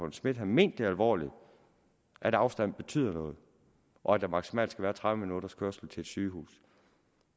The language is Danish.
schmidt havde ment det alvorligt at afstanden betyder noget og at der maksimalt skal være tredive minutters kørsel til et sygehus